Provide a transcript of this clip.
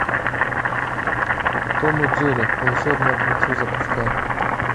том и джерри волшебное кольцо запускай